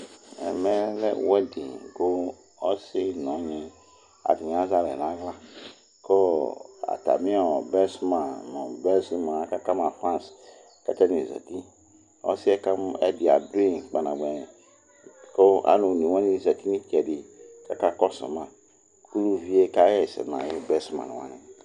ɛmɛ lɛ wedding kʋ ɔsi nor nyi atani azɛ alɛ nala kʋ ɔɔ atami best man nɔ best man aka ka ma fans kʋ atani zɛti ɔsiɛ kamɔ ɛdi adʋi kpanabuɛ kʋ alʋ onɛ wani zɛti nʋ itsɛdi ka kɔsʋ ma kʋ ʋviɛ ka yɛsɛ na yʋ best man wani